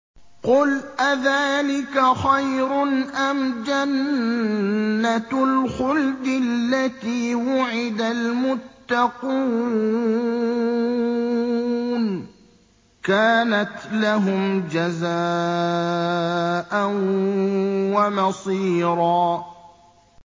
قُلْ أَذَٰلِكَ خَيْرٌ أَمْ جَنَّةُ الْخُلْدِ الَّتِي وُعِدَ الْمُتَّقُونَ ۚ كَانَتْ لَهُمْ جَزَاءً وَمَصِيرًا